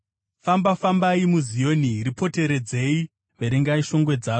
Famba-fambai muZioni, ripoteredzei, verengai shongwe dzaro,